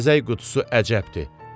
Bəzək qutusu əcəbdir.